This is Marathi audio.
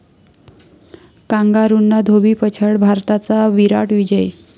कांगारूंना धोबीपछाड, भारताचा 'विराट' विजय